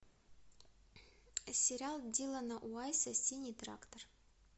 сериал дилана вайса синий трактор